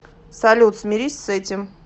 салют смирись с этим